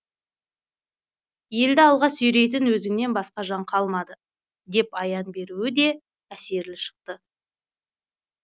елді алға сүйрейтін өзіңнен басқа жан қалмады деп аян беруі де әсерлі шықты